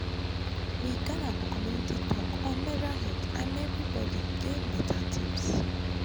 we gather for community talk on menstrual hygiene and everybody gain better tips.